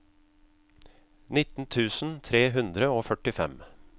nitten tusen tre hundre og førtifem